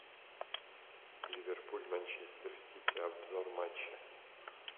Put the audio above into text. ливерпуль манчестер сити обзор матча